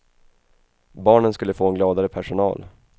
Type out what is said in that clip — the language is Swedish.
Barnen skulle få en gladare personal.